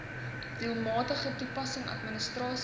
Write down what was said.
doelmatige toepassing administrasie